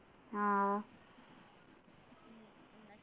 ആഹ്